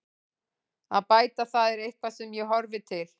Að bæta það er eitthvað sem ég horfi til.